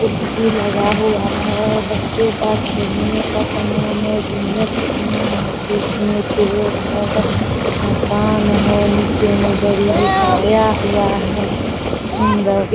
कुर्सी लगा हुआ है। बच्चों का खेलने का सामान है जिनमें कुछ सामान बेचने पेड़ है मकान है। निचे में दरी बिछाया हुआ है सुंदर --